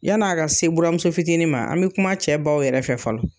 Yan'a ka se buramuso fitiinin ma an bɛ kuma cɛ baw yɛrɛ fɛ fɔlɔ.